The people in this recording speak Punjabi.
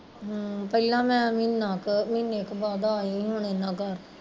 ਪਹਿਲਾਂ ਮੈਂ ਮਹੀਨਾ ਕੁ ਮਹੀਨੇ ਕੁ ਬਾਦ ਆਈ ਹੁਣੀ ਏਹਨਾ ਘਰ